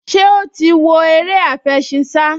Ṣé ó ti ń wo eré àfẹṣinsá?